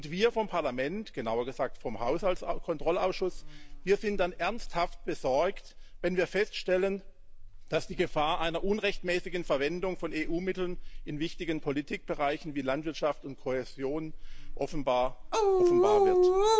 Wir vom Parlament genauer gesagt vom Haushaltskontrollausschuss sind dann ernsthaft besorgt, wenn wir feststellen, dass die Gefahr einer unrechtmäßigen Verwendung von EU Mitteln in wichtigen Politikbereichen wie Landwirtschaft und Kohäsion offenbar wird.